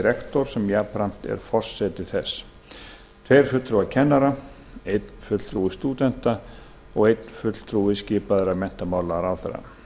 rektor sem jafnframt er forseti þess tveir fulltrúar kennara einn fulltrúi stúdenta og einn fulltrúi skipaður af menntamálaráðherra